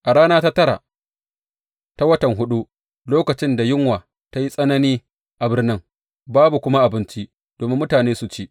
A rana ta tara ta watan huɗu, lokacin da yunwa ta yi tsanani a birnin, babu kuma abinci domin mutane su ci.